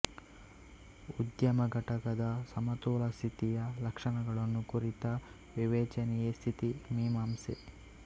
ಉದ್ಯಮಘಟಕದ ಸಮತೋಲ ಸ್ಥಿತಿಯ ಲಕ್ಷಣಗಳನ್ನು ಕುರಿತ ವಿವೇಚನೆಯೇ ಸ್ಥಿತಿ ಮೀಮಾಂಸೆ